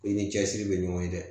I ni cɛsiri bɛ ɲɔgɔn ye dɛ